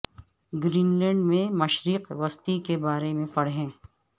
green land میں مشرق وسطی کے بارے میں پڑھیں